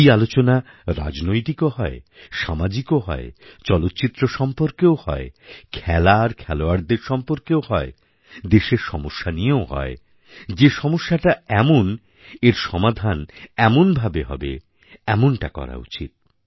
এই আলোচনা রাজনৈতিকও হয় সামাজিকও হয় চলচ্চিত্র সম্পর্কেও হয় খেলা আর খেলোয়াড়দের সম্পর্কেও হয় দেশের সমস্যা নিয়েও হয় যে সমস্যাটা এমন এর সমাধান এমনভাবে হবে এমনটা করা উচিৎ